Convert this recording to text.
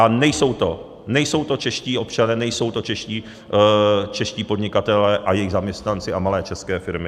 A nejsou to čeští občané, nejsou to čeští podnikatelé a jejich zaměstnanci a malé české firmy.